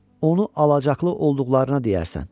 Onu alacaqlı olduqlarına deyərsən.